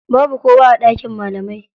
Babu kowa a ɗakin malamai.